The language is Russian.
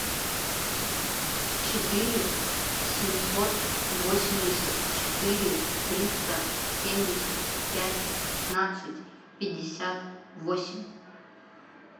четыре семьсот восемьдесят четыре триста семьдесят пять пятнадцать пятьдесят восемь